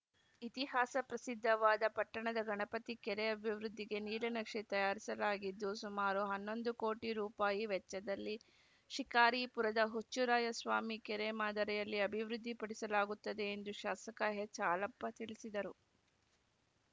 ಇತಿಹಾಸ ಪ್ರಸಿದ್ದವಾದ ಪಟ್ಟಣದ ಗಣಪತಿ ಕೆರೆ ಅಭಿವೃದ್ಧಿಗೆ ನೀಲನಕ್ಷೆ ತಯಾರಿಸಲಾಗಿದ್ದು ಸುಮಾರು ಹನ್ನೊಂದು ಕೋಟಿ ರೂಪಾಯಿ ವೆಚ್ಚದಲ್ಲಿ ಶಿಕಾರಿಪುರದ ಹುಚ್ಚರಾಯಸ್ವಾಮಿ ಕೆರೆ ಮಾದರಿಯಲ್ಲಿ ಅಭಿವೃದ್ಧಿಪಡಿಸಲಾಗುತ್ತದೆ ಎಂದು ಶಾಸಕ ಎಚ್‌ಹಾಲಪ್ಪ ತಿಳಿಸಿದರು